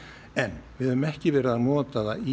en við höfum ekki verið að nota það í